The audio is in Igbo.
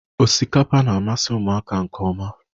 Osikapa na-amasị ụmụaka nke ọma.